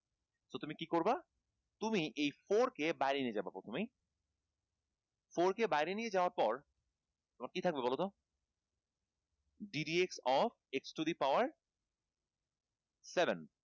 তো তুমি কী করবা? তুমি এই four কে বাইরে নিয়ে যাবা প্রথমেই four কে বাইরে নিয়ে যাওয়ার পর তোমার কী থাকবে বল তো d dx of x to the power seven